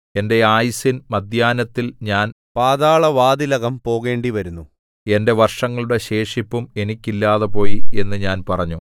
എന്റെ ആയുസ്സിൻ മദ്ധ്യാഹ്നത്തിൽ ഞാൻ പാതാളവാതിലകം പൂകേണ്ടിവരുന്നു എന്റെ വർഷങ്ങളുടെ ശേഷിപ്പും എനിക്കില്ലാതെ പോയി എന്നു ഞാൻ പറഞ്ഞു